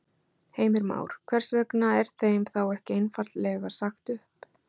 Heimir Már: Hvers vegna er þeim þá ekki einfaldlega sagt upp?